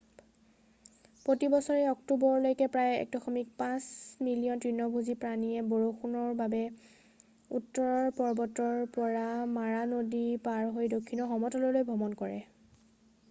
প্ৰতি বছৰে অক্টোবৰলৈকে প্ৰায় 1.5 মিলিয়ন তৃণভোজী প্ৰাণীয়ে বৰষুণৰ বাবে উত্তৰৰ পৰ্বতৰ পৰা মাৰা নদী পাৰ হৈ দক্ষিণৰ সমতললৈ ভ্ৰমণ কৰে